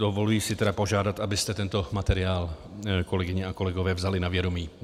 Dovoluji si tedy požádat, abyste tento materiál, kolegyně a kolegové, vzali na vědomí.